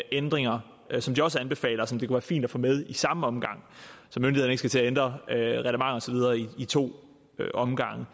ændringer som de også anbefaler og som det kunne være fint at få med i samme omgang så myndighederne ikke skal til at ændre reglementer og så videre i to omgange